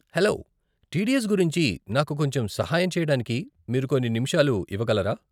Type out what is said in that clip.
Hello, TDS గురించి నాకు కొంచెం సహాయం చేయడానికి మీరు కొన్ని నిమిషాలు ఇవ్వగలరా?